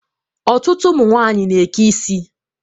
Ọtụtụ ụmụnwanyị na-eke isi.